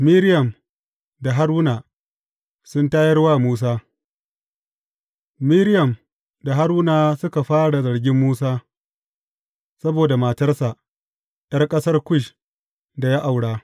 Miriyam da Haruna sun tayar wa Musa Miriyam da Haruna suka fara zargin Musa saboda matarsa ’yar ƙasar Kush da ya aura.